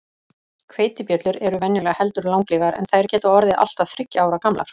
Hveitibjöllur eru venjulega heldur langlífar, en þær geta orðið allt að þriggja ára gamlar.